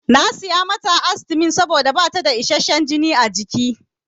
Na saya mata astimin saboda bata da isasshen jini a jiki.